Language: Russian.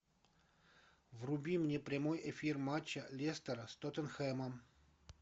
вруби мне прямой эфир матча лестера с тоттенхэмом